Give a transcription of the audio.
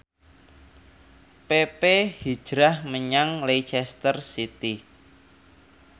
pepe hijrah menyang Leicester City